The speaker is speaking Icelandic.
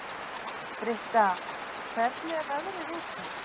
Britta, hvernig er veðrið úti?